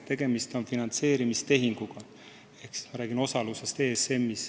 Tegemist on finantseerimistehinguga.